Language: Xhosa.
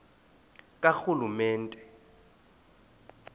karhulumente